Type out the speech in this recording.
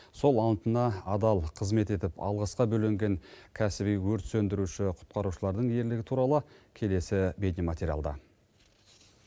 сол антына адал қызмет етіп алғысқа бөленген кәсіби өрт сөндіруші құтқарушылардың ерлігі туралы келесі бейнематериалда